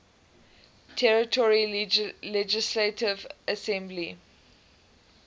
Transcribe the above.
territory legislative assembly